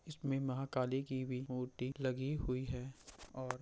इसमें महाकाली की भी मूर्ति लगी हुई है और --